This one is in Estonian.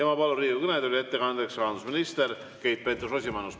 Ma palun ettekandeks Riigikogu kõnetooli rahandusminister Keit Pentus‑Rosimannuse.